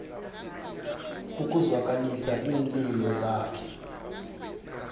ukuzwakalisa iinlilo zakhe